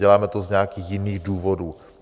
Neděláme to z nějakých jiných důvodů.